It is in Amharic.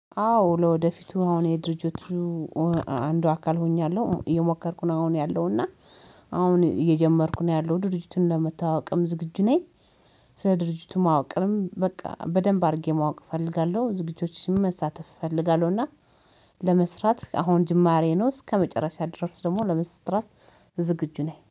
አዎ ለወደፊቱ አሁን የድርጅቱ አንዱ አካል ሆኛለሁ እየሞከርኩ ነው አሁን ያለው እና አሁን እየጀመርኩ ነው ያለው ድርጅቱን ለመታወቅም ዝግጁ ነኝ። ስለ ድርጅቱ ማወቅንም በቃ በደንብ አድርጌ ማወቅ እፈልጋለሁ ዝግጁዎችሽን መሳተፍ እፈልጋለሁና። ለመስራት አሁን ጅማሬ ነው እስከመጨረሻ ድረስ ደግሞ ለመስራት ዝግጁ ነኝ